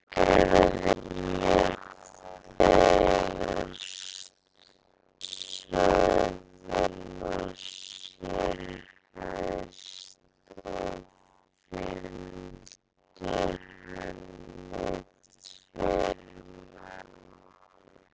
Þorgerður lét þegar söðla sér hest og fylgdu henni tveir menn.